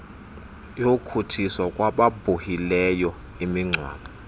yokutshiswa kwababhuhileyo imingcwabo